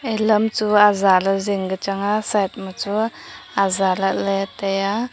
lam chu aja lah le jing ka changa side ma chu aja lahle taiya.